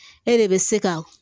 E de bɛ se ka